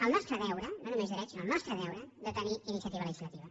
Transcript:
el nostre deure no només dret sinó el nostre deure de tenir iniciativa legislativa